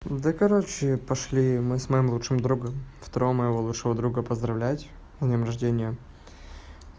да короче пошли мы с моим лучшим другом второго моего лучшего друга поздравлять с днём рождения